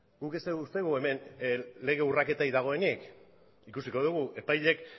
guk ez dugu uste hemen lege urraketarik dagoenik ikusiko dugu epaileek